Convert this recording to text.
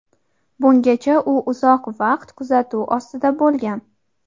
bungacha u uzoq vaqt kuzatuv ostida bo‘lgan.